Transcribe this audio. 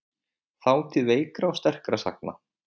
Þátíð veikra og sterkra sagna.